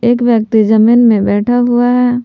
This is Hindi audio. एक व्यक्ति जमीन में बैठा हुआ है।